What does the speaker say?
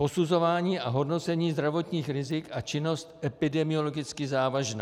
Posuzování a hodnocení zdravotních rizik a činnost epidemiologicky závažná.